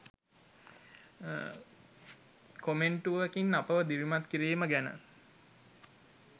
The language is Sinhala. කොමෙන්ටුවකින් අපව දිරිමත් කිරීම ගැන.